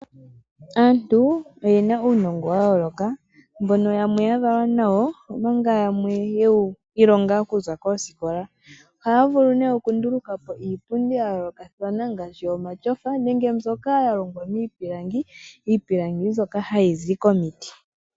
Aantu oyena uunongo wa yooloka mbono yamwe ya valwa nawo omanga yamwe ye wu ilonga okuza koosikola. Ohaa vulu nee okunduluka po iipundi ya yoolokathana ngaashi omatyofa nenge mbyoka ya longwa miipilangi, iipilangi mbyoka hayi zi komiti.